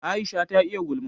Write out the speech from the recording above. Aisha ta iya gulma